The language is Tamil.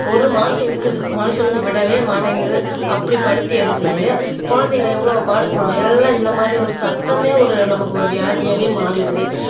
ஒரு மாசம் இழுக்குது மனுஷனுக்கு விடவே மாட்டேங்குது அப்படி படுத்தி எடுக்குது குழந்தைங்க எவ்வளவு பாடுபடும் எல்லாம் இந்த மாதிரி ஒரு சத்தமே ஒரு நமக்கு ஒரு வியாதியாவே மாறிடுது